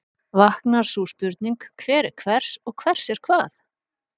Vaknar sú spurning, hver er hvers og hvers er hvað?